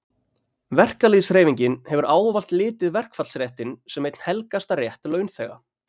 verkalýðshreyfingin hefur ávallt litið verkfallsréttinn sem einn helgasta rétt launþega